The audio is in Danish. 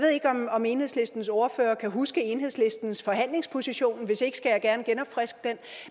om enhedslistens ordfører kan huske enhedslistens forhandlingsposition og hvis ikke skal jeg gerne genopfriske den